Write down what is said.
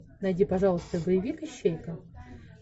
найди пожалуйста боевик ищейка